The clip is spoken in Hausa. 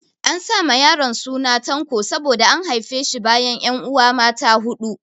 An sa ma yaron suna Tanko saboda an haife shi bayan 'yanuwa mata huɗu.